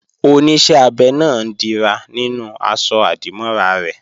Oníṣẹ́ abẹ náà ń dira nínú aṣọ-àdìmọ́ra rẹ̀